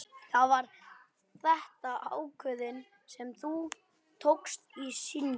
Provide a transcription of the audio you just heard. Var þetta ákvörðun sem þú tókst í skyndi?